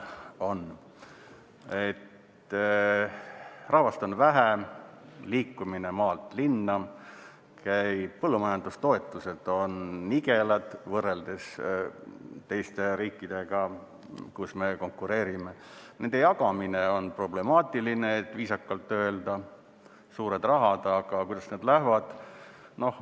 Rahvast on vähe, liikumine toimub maalt linna, põllumajandustoetused on nigelad võrreldes teiste riikidega, kus me konkureerime, nende jagamine on problemaatiline, et viisakalt öelda – suured rahad, aga kuidas need lähevad.